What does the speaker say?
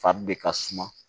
Fari de ka suma